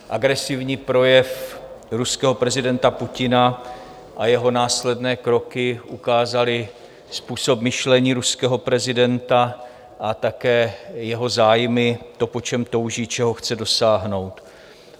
Agresivní projev ruského prezidenta Putina a jeho následné kroky ukázaly způsob myšlení ruského prezidenta a také jeho zájmy, to, po čem touží, čeho chce dosáhnout.